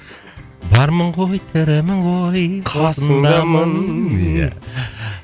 бармын ғой тірімін ғой қасыңдамын иә